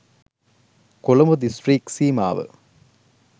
Colombo district සීමාව